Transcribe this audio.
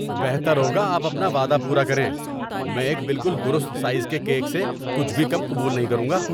بہتر ہوگا کہ آپ اپنا وعدہ پورا کریں۔ میں ایک بالکل درست سائز کے کیک سے کچھ بھی کم قبول نہیں کروں گا۔